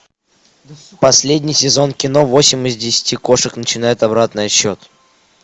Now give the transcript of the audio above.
последний сезон кино восемь из десяти кошек начинают обратный отсчет